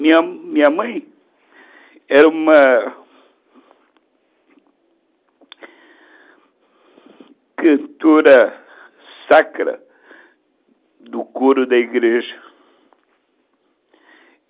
Minha minha mãe era uma cantora sacra do coro da igreja.